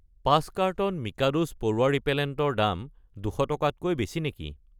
5 carton মিকাদোছ পৰুৱা repellent ৰ দাম 200 টকাতকৈ বেছি নেকি?